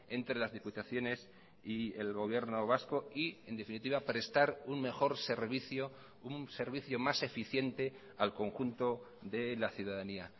entre las diputaciones y el gobierno vasco y en definitiva prestar un mejor servicio un servicio más eficiente al conjunto de la ciudadanía